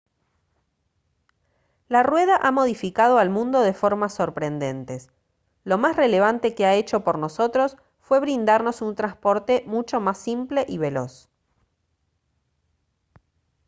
la rueda ha modificado al mundo de formas sorprendentes lo más relevante que ha hecho por nosotros fue brindarnos un transporte mucho más simple y veloz